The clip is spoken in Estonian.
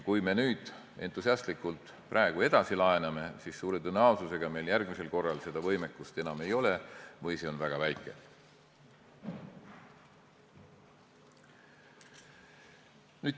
Kui me entusiastlikult praegu edasi laename, siis suure tõenäosusega meil järgmisel korral seda võimekust enam ei ole või on see väga väike.